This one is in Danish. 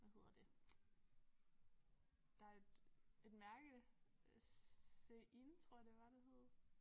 Hvad hedder det der et mærke Shein tror jeg det var det hed